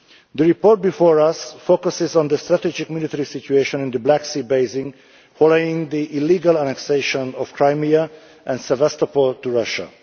The report before us focuses on the strategic military situation in the Black Sea Basin following the illegal annexation of Crimea and Sevastopol to Russia.